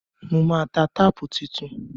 Mo máa ta táàpù tuntun.